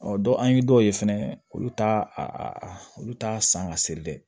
Ɔ dɔ an ye dɔw ye fɛnɛ olu t'a olu t'a san ka seri dɛ